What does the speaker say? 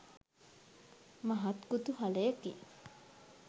මහත් කුතුහලයකි.